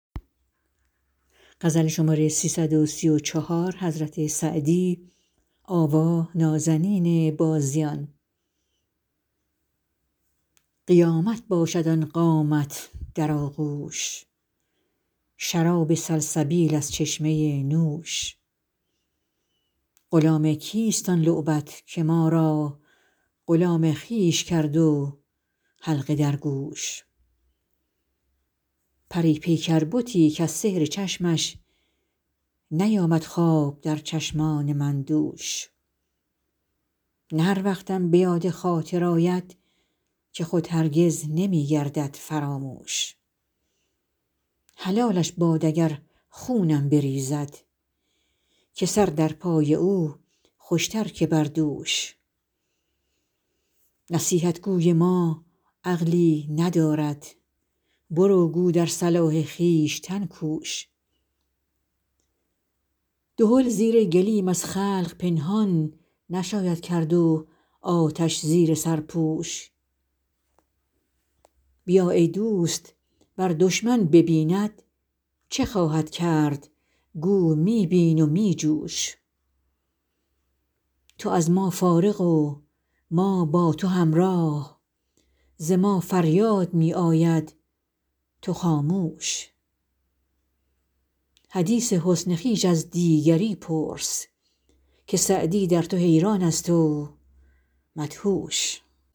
قیامت باشد آن قامت در آغوش شراب سلسبیل از چشمه نوش غلام کیست آن لعبت که ما را غلام خویش کرد و حلقه در گوش پری پیکر بتی کز سحر چشمش نیامد خواب در چشمان من دوش نه هر وقتم به یاد خاطر آید که خود هرگز نمی گردد فراموش حلالش باد اگر خونم بریزد که سر در پای او خوش تر که بر دوش نصیحت گوی ما عقلی ندارد برو گو در صلاح خویشتن کوش دهل زیر گلیم از خلق پنهان نشاید کرد و آتش زیر سرپوش بیا ای دوست ور دشمن ببیند چه خواهد کرد گو می بین و می جوش تو از ما فارغ و ما با تو همراه ز ما فریاد می آید تو خاموش حدیث حسن خویش از دیگری پرس که سعدی در تو حیران است و مدهوش